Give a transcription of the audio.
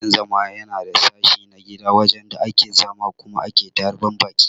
Dakin-zama Yana sashi na gida wajen da ake zama Kuma ake tarban Baki.